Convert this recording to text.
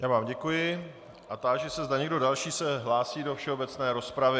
Já vám děkuji a táži se, zda někdo další se hlásí do všeobecné rozpravy.